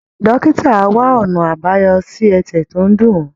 Dókítà á wá ọ̀nà àbáyọ sí ẹsẹ̀ tó ń dùn ọ́